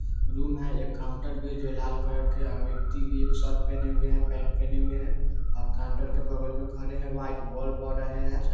रूम है एक काउंटर भी जो लाल कलर के व्यक्ति भी शर्ट पहने हुए है पेंट पहने हुए है और काउंटर के बगल मे खड़े है व्हाइट बोल बड़ रहे है।